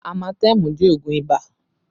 Amatemu jẹ́ oogun ibà